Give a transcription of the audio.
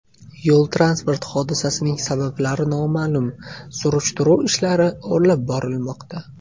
Yo‘l-transport hodisasining sabablari noma’lum, surishtiruv ishlari olib borilmoqda.